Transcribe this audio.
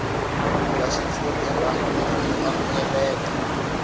bya xitshuriwa i byo amukeleka